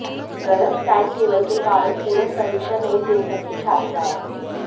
गलत time table के कारण पूरक परीक्षा नहीं दे सकीं छात्राएं